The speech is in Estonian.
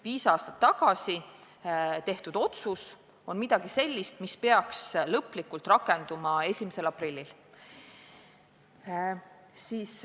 Viis aastat tagasi tehtud otsus peaks lõplikult rakenduma 1. aprillil.